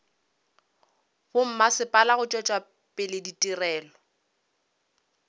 bommasepala go tšwetša pele ditirelo